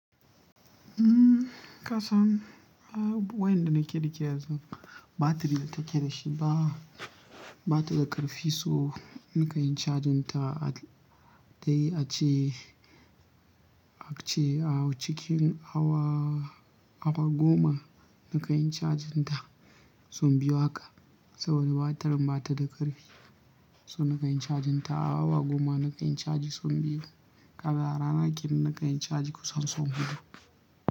Kasan wayan da nake da ke yanzu batiri da take da shi ba, ba ta da ƙarfi so nika yin cajin ta dai ace, ace a cikin awa, awa goma nika yin cajin ta son biyu haka. Saboda batirin ba ta da ƙarfi. So nika yin cajin ta awa goma nika yi cajin son biyu. Ka ga rana ken nika yi caji kusan son hudu.